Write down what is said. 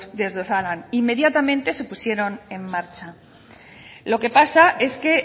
desde osalan inmediatamente se pusieron en marcha lo que pasa es que